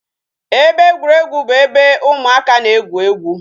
Ebe egwuruegwu bụ ebe ụmụaka na-egwu egwu